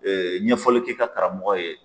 ɲɛfɔli kɛ i ka karamɔgɔ ye